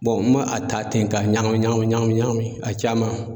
n ma a ta ten ka ɲagami ɲagami ɲagami ɲagami a caman